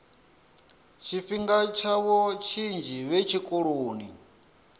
tshifhinga tshavho tshinzhi vhe tshikoloni